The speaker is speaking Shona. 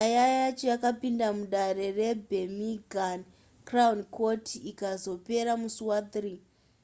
nyaya yacho yakapinda mudare rebirminghama crown court ikazopera musi waaugust 3